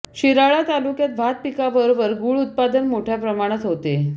शिराळा तालुक्यात भात पिकाबरोबर गूळ उत्पादन मोठ्या प्रमाणात होते